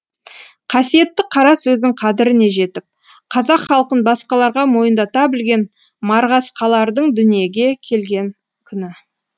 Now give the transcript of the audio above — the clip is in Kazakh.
қасиетті қара сөздің қадіріне жетіп қазақ халқын басқаларға мойындата білген марғасқалардың дүниеге келген күні